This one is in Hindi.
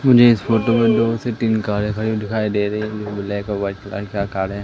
मुझे इस फोटो में दो से तीन कारे खड़ी हुई दिखाई दे रही जो ब्लैक और वाइट का कार है।